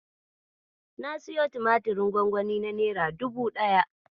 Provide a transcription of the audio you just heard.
Na siyo tumatirin gwangwani na nera dubu ɗaya.